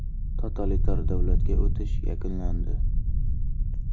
Totalitar davlatga o‘tish yakunlandi.